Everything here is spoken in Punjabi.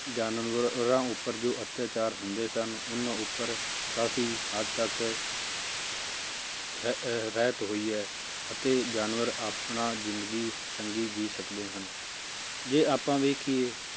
ਜਾਨਵਰਾਂ ਉੱਪਰ ਜੋ ਅਤਿਆਚਾਰ ਹੁੰਦੇ ਸਨ ਉਹਨਾਂ ਉੱਪਰ ਕਾਫ਼ੀ ਹੱਦ ਤੱਕ ਰਹ~ ਰਹਿਤ ਹੋਈ ਹੈ ਅਤੇ ਜਾਨਵਰ ਆਪਣਾ ਜ਼ਿੰਦਗੀ ਚੰਗੀ ਜੀਅ ਸਕਦੇ ਹਨ, ਜੇ ਆਪਾਂ ਵੇਖੀਏ